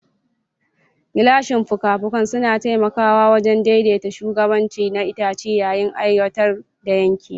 Gilashin fuka-fukan suna taimakawa wajen daidaita shugabanci na itace yayin aiwatar da yanke.